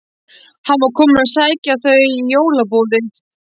Hann var kominn að sækja þau í jólaboðið.